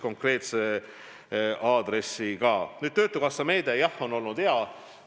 Nüüd, töötukassa meede, jah, on olnud hea.